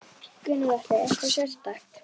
Gunnar Atli: Eitthvað sérstakt?